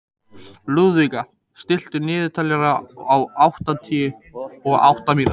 Lúðvíka, stilltu niðurteljara á áttatíu og átta mínútur.